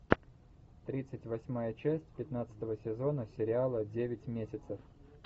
тридцать восьмая часть пятнадцатого сезона сериала девять месяцев